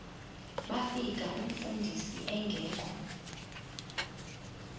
bafika umfundisi engekho